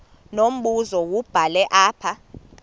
unombuzo wubhale apha